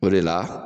O de la